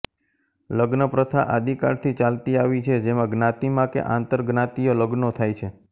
લગ્નપ્રથા આદિકાળથી ચાલતી આવી છે જેમાં જ્ઞાતિમાં કે આંતરજ્ઞાતિય લગ્નો થાય છે